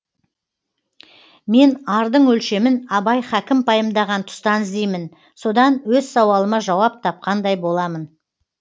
мен ардың өлшемін абай хакім пайымдаған тұстан іздеймін содан өз сауалыма жауап тапқандай боламын